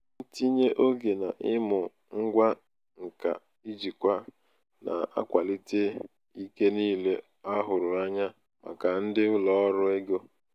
ntinye oge n'ịmụ ngwa nka njikwa na-akwalite ike niile a hụrụ anya maka ndị ụlọ ọrụ ego. ego.